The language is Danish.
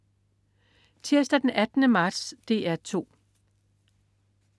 Tirsdag den 18. marts - DR 2: